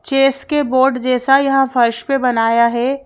Chess के board जैसा यहां फर्श पे बनाया है।